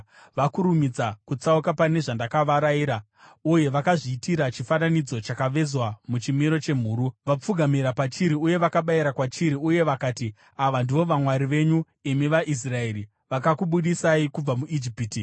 Vakurumidza kutsauka pane zvandakavarayira uye vakazviitira chifananidzo chakavezwa muchimiro chemhuru. Vapfugamira pachiri uye vakabayira kwachiri uye vakati, ‘Ava ndivo vamwari venyu, imi vaIsraeri, vakakubudisai kubva muIjipiti.’ ”